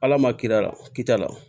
Ala ma kil'a la kida la